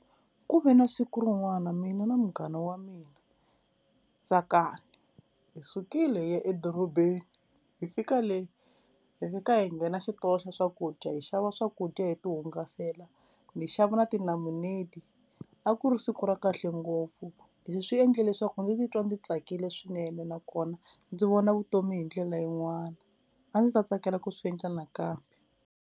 Ku ve na siku rin'wana mina na munghana wa mina Tsakani, hi sukile hi ya edorobeni hi fika le hi fika hi nghena xitolo xa swakudya hi xava swakudya hi ti hungasela ni xava na tinamuneti a ku ri siku ra kahle ngopfu, leswi swi endle leswaku ndzi titwa ndzi tsakile swinene nakona ndzi vona vutomi hi ndlela yin'wana, a ndzi ta tsakela ku swi endla nakambe.